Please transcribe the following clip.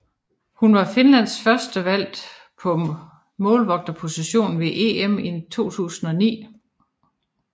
Hun var Finlands førstevalg på målvogterpositionen ved EM i 2009